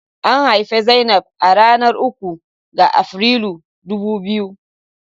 An haifi Zainab a ranar uku ga Afrilu dubu biyu.